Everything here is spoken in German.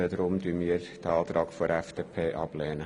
Deshalb lehnen wir den Antrag der FDP ab.